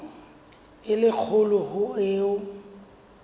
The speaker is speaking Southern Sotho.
e le kgolo ho eo